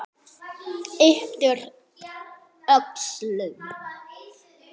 Ypptir öxlum.